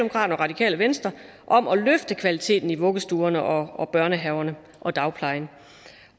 og radikale venstre om at løfte kvaliteten i vuggestuerne og og børnehaverne og dagplejen